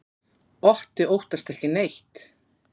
Otti óttast ekki neitt!